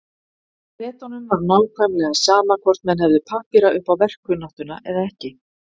Bretunum var nákvæmlega sama hvort menn hefðu pappíra upp á verkkunnáttuna eða ekki.